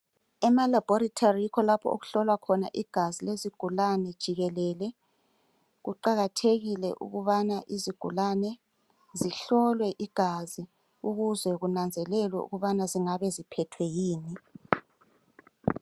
Emalaboratory yikho lapho okuhlolwa khona igazi lezigulane jikelele kuqakathekile ukubana izigulane zihlolwe igazi ukuze kunanzelelwe ukubana zingabeziphethwe yikuyini.